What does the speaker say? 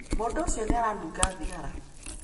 Mũndũ ũcio nĩ aranunga thigara.